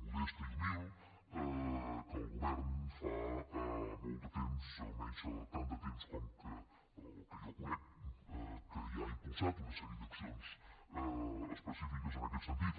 modesta i humil que el govern fa molt de temps almenys tant de temps com que el que jo en conec que ja ha impulsat una sèrie d’accions específiques en aquest sentit